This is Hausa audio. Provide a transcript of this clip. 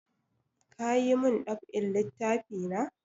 Ka yi mun dab'in littafi na?